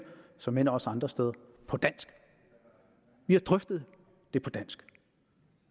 såmænd også andre steder på dansk vi har drøftet det på dansk